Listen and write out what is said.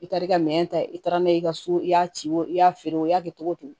I taar'i ka minɛn ta i taara n'a ye i ka so i y'a ci o i y'a feere o y'a kɛ cogo cogo